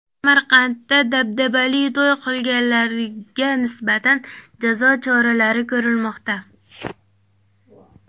Samarqandda dabdabali to‘y qilganlarga nisbatan jazo choralari ko‘rilmoqda .